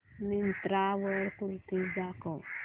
मिंत्रा वर कुर्तीझ दाखव